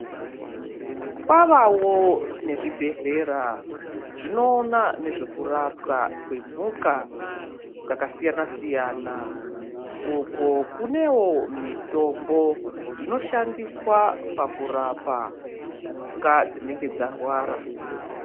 Kwavavo nezvibhedhlera zvinoona nezvekurapwa kwemhuka dzakasiyana-siyana, uko kunewo mitombo inoshandiswa pakurapa mhuka dzinenge dzarwara.